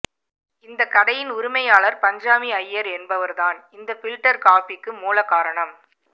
இந்த கடையின் உரிமையாளர் பஞ்சாமி ஐயர் என்பவர் தான் இந்த பில்டர் காப்பிக்கு மூல காரணம்